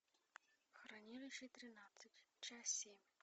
хранилище тринадцать часть семь